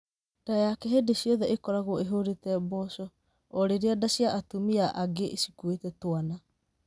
Ndaa yake hĩndĩ ciothe ĩkoragwo ĩhũrĩte mboco, orĩrĩa ndaa cia atumia angĩ cikuĩte twana.